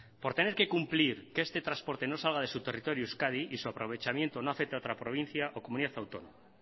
por tener que cumplir que este transporte no salga de su territorio euskadi y su aprovechamiento no afecte a otra provincia o comunidad autónoma